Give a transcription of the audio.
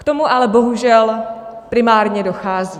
K tomu ale bohužel primárně dochází.